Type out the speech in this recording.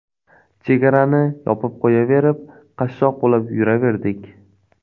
Chegarani yopib qo‘yaverib qashshoq bo‘lib yuraverdik.